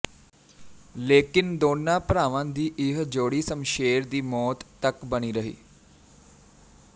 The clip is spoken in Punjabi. ਲੇਕਿਨ ਦੋਨਾਂ ਭਰਾਵਾਂ ਦੀ ਇਹ ਜੋੜੀ ਸ਼ਮਸ਼ੇਰ ਦੀ ਮੌਤ ਤੱਕ ਬਣੀ ਰਹੀ